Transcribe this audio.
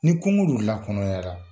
Ni kungo dun lakɔnɔyara